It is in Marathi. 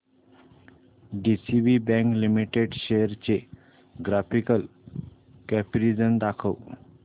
डीसीबी बँक लिमिटेड शेअर्स चे ग्राफिकल कंपॅरिझन दाखव